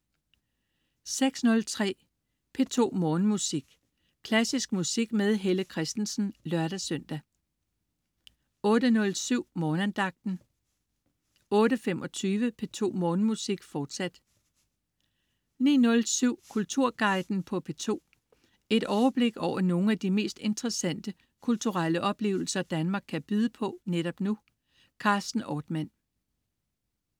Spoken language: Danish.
06.03 P2 Morgenmusik. Klassisk musik med Helle Kristensen (lør-søn) 08.07 Morgenandagten 08.25 P2 Morgenmusik, fortsat 09.07 Kulturguiden på P2. Et overblik over nogle af de mest interessante kulturelle oplevelser Danmark kan byde på netop nu. Carsten Ortmann